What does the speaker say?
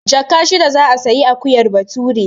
Jaka shida za a sayi akuyar Bature.